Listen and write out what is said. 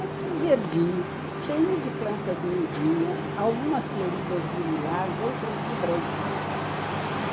É tudo verdinho, cheio de plantas miudinhas, algumas floridas de lilás, outras de branco.